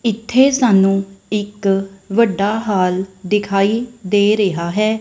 ਇੱਥੇ ਸਾਨੂੰ ਇੱਕ ਵੱਡਾ ਹਾਲ ਦਿਖਾਈ ਦੇ ਰਿਹਾ ਹੈ।